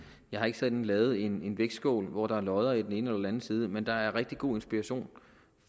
jeg har ikke sådan lavet en vægtskål hvor der er lodder i den ene eller den anden side men der har været rigtig god inspiration